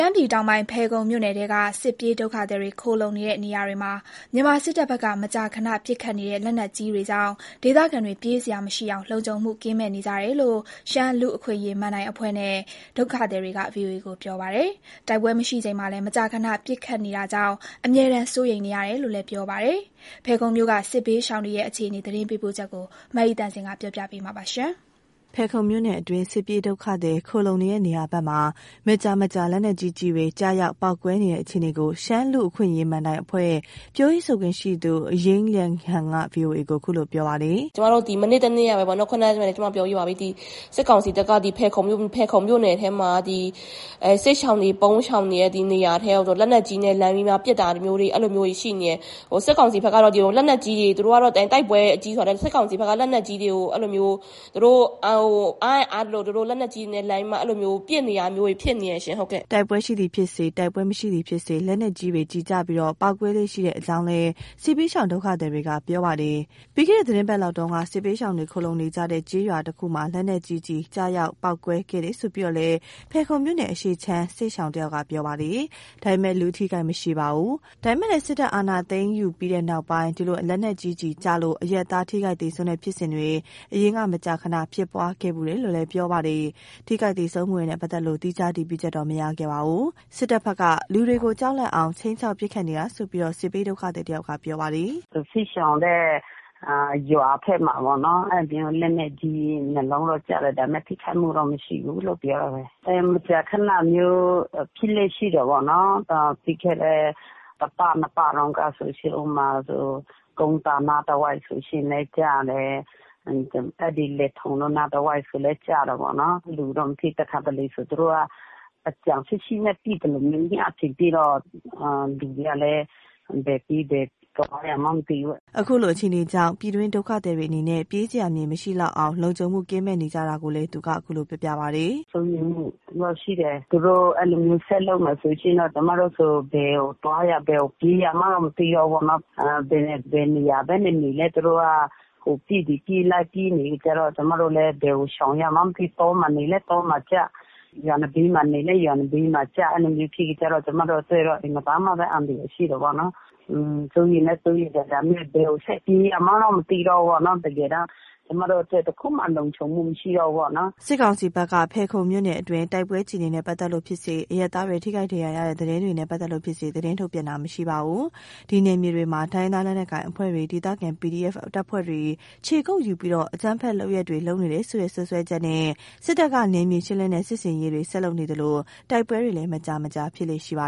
မ်းပြည်တောင်ပိုင်း ဖယ်ခုံမြို့နယ်ထဲက စစ်ပြေးဒုက္ခသည်တွေ ခိုလှုံနေတဲ့ နေရာတွေမှာ မြန်မာစစ်တပ်ဘက်က မကြာခဏပစ်ခတ်နေတဲ့ လက်နက်ကြီးတွေကြောင့် ဒေသခံတွေ ပြေးစရာမရှိအောင် လုံခြုံမှုကင်းမဲ့နေကြတယ်လို့ ရှမ်းလူ့အခွင့်အရေးမဏ္ဍိုင်အဖွဲ့နဲ့ ဒုက္ခသည်တွေက VOA ကိုပြောပါတယ်။ တိုက်ပွဲမရှိချိန်မှာလည်း မကြာခဏပစ်ခတ်နေတာကြောင့် အမြဲတမ်းစိုးရိမ်နေရတယ်လို့ ပြောကြပါတယ်။ ဖယ်ခုံမြို့က စစ်ဘေးရှောင်တွေရဲ့အခြေအနေ ရန်ကုန်ကလာတဲ့သတင်းပေးပို့ချက်ကို မအိသန့်စင်က တင်ပြပေးထားပါတယ်။ ဖယ်ခုံမြို့နယ်အတွင်း စစ်ပြေးဒုက္ခသည် ခိုလှုံနေတဲ့နေရာမှာ မကြာမကြာ လက်နက်ကြီး ကျည်တွေ ကျရောက်ပေါက်ကွဲနေတဲ့အခြေအနေကို ရှမ်းလူ့အခွင့်အရေးမဏ္ဍိုင်အဖွဲ့ ပြောရေးဆိုခွင့်ရှိသူ ယိင်းလျန်းဟန်က VOA ကို ခုလိုပြောပြပါတယ်။ “ကျမတို့ ဒီမနေ့တနေ့ကပဲပေါ့နော် ခုနကလည်း ကျမပြောပြီးပါပြီ။ ဒီစစ်ကောင်စီတပ်က ဖယ်ခုံမြို့နယ်ထဲမှာ ဒီစစ်ရှောင် ပုန်းရှောင်နေတဲ့ နေရာထဲတွေကို လက်နက်ကြီးနဲ့ လှမ်းပြီးမှပစ်တာမျိုးတွေ အဲ့လိုမျိုးတွေရှိနေတယ်။ စစ်ကောင်ဘက်ကတော့ သူတို့အားရင်အားသလို လက်နက်ကြီးတွေနဲ့ လှမ်းပြီးမှ ပစ်နေတာမျိုးတွေ ဖြစ်နေတယ်ရှင့် ဟုတ်ကဲ့။” တိုက်ပွဲရှိသည်ဖြစ်စေ၊ တိုက်ပွဲမရှိသည်ဖြစ်စေ လက်နက်ကြီးတွေကျပြီး ပေါက်ကွဲလေ့ရှိတဲ့အကြေင်းလည်း စစ်ဘေးရှောင် ဒေသခံတွေက ပြောပါတယ်။ ပြီးခဲ့အပတ်လောက်ကလည်း စစ်ဘေးရှောင်တွေ ခိုလှုံနေကြတဲ့ရွာတခုမှာ လက်နက်ကြီးကျရောက်ပေါက်ကွဲခဲ့တယ်လို့ ဖယ်ခုံမြို့နယ်အရှေ့ခြမ်း စစ်ရှောင်တဦးကပြောပါတယ်။ လူအထိအခိုက်မရှိပေမယ့်လည်း စစ်တပ် အာဏာသိမ်းယူပြီးတဲ့နောက် ဒီလို လက်နက်ကြီးကျလို့ အရပ်သားထိခိုက်သေဆုံးတဲ့ဖြစ်စဉ်တွေ အရင်က မကြာခဏ ဖြစ်ပွားခဲ့ဖူးတယ်လို့ ပြောပါတယ်။ အခုဖြစ်စဉ်မှာ ထိခိုက်သေဆုံးမှုတွေနဲ့ ပတ်သက်လို့ သီးခြားအတည်ပြုချက်တော့ မရရှိခဲ့ပါဘူး။ စစ်တပ်ဘက်က လူတွေကို ကြောက်လန့်အောင် ခြိမ်းခြောက် ပစ်ခတ်နေတာလို့ စစ်ဘေးဒုက္ခသည်တယောက်က ပြောပါတယ်။ “စစ်ရှောင်တဲ့ ရွာဘက်မှာပေါ့နော် လက်နက်ကြီး ၂ လုံးလောက်ကျတယ်။ ဒါပေမယ့် ထိခိုက်မှုတော့မရှိလို့ ပြောတာပဲ။ ဒီလိုမကြာခဏမျိုးဖြစ်လေ့ရှိတယ်ပေါ့နော်၊ ပြီးခဲ့တဲ့ တပတ် နှစ်ပတ်တုန်းကဆိုလို့ရှိရင် ဥပမာ ကုန်းသာအနားတဝိုက်ဆိုလို့ရှိရင်လည်း ကျတယ်။ အဲ့ဒီလယ်ထုံတို့ အနားတဝိုက်ဆိုလည်း ကျတာပေ့ါနော်။ လူတော့မထိ။ တခါတလေဆို သူတို့က အကြံရှိရှိနဲ့ ပစ်သလိုမျိုး။ ညအချိန်ထိတော့ လူတွေကလည်း ဘယ်ပြေးဘယ်သွားရမှန်းမသိဘူး။” အခုလို အခြေအနေကြောင့် ပြည်တွင်းဒုက္ခသည်တွေအနေနဲ့ ပြေးစရာမြေမရှိလောက်အောင် လုံခြုံမှုကင်းမဲ့နေကြတာကိုလည်း သူက ခုလို ပြောပြပါတယ်။ “စိုးရိမ်မှုတော့ ရှိတယ်။ သူတို့ အဲ့လိုမျိုးဆက်လုပ်မယ်ဆိုလို့ရှိရင်တော့ ကျမတို့ဆို ဘယ်ကိုသွားရ ဘယ်ကိုပြေးရမှန်းကို မသိတော့ဘူးပေါ့နော်။ ဘယ်နေရာပဲနေနေလည်း သူတို့က ဟိုပစ်ဒီပစ် လိုက်ပစ်နေတဲ့အခါကျတော့ ကျမတို့လည်း ဘယ်ကိုရှောင်ရမှန်းမသိ။ တောမှာနေလည်း တောမှာကျ၊ ရွာနံဘေးမှာနေလည်း ရွာနံဘေးကျ။ အဲ့လိုမျိုးဖြစ်တဲ့အခါကျတော့ ကျမတို့အတွက်တော့ အင်မတန်မှပဲ အန္တရာယ် ရှိတယ်ပေါ့နော်။ စိုးရိမ်လည်း စိုးရိမ်တယ်။ ဒါပေမယ့် ဘယ်ကိုဆက်ပြေးရမှန်းကို မသိတော့ဘူးပေ့ါ။ တကယ်တန်း ကျမတို့အတွက် တခုမှလုံခြုံမှုမရှိတော့ဘူးပေါ့နော်။” စစ်ကောင်စီဘက်က ဖယ်ခုံမြို့နယ်အတွင်း တိုက်ပွဲအခြေအနေနနဲ့ ပတ်သက်လို့ ဖြစ်စေ၊ အရပ်သားတွေ ထိခိုက်ဒဏ်ရာရတဲ့သတင်းတွေနဲ့ ပတ်သက်လို့ဖြစ်စေ သတင်းထုတ်ပြန်တာ မရှိပါဘူး။ ဒီနယ်မြေတွေမှာ တိုင်းရင်းသားလက်နက်ကိုင် အဖွဲ့တွေ၊ ဒေသခံ PDF တပ်ဖွဲ့တွေ ခြေကုပ်ယူပြီး အကြမ်းဖက်လုပ်ရပ်တွေ လုပ်နေတယ်ဆိုတဲ့ စွပ်စွဲချက်နဲ့ စစ်တပ်က နယ်မြေရှင်းလင်းတဲ့ စစ်ဆင်ရေးတွေ ဆက်လုပ်နေသလို တိုက်ပွဲတွေလည်း မကြာမကြာ ဖြစ်လေ့ရှိပါ